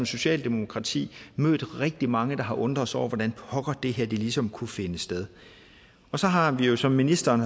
socialdemokratiet mødt rigtig mange der har undret sig over hvordan pokker det her ligesom kunne finde sted så har vi vi som ministeren